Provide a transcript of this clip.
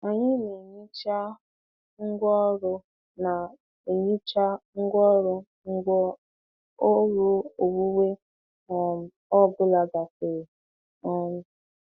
Anyị na-ehicha ngwaọrụ na-ehicha ngwaọrụ mgbe ọrụ owuwe um ọ bụla gasịrị. um